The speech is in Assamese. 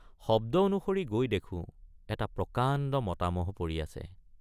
শব্দ অনুসৰি গৈ দেখোঁ এটা প্ৰকাণ্ড মতা মহ পৰি আছে।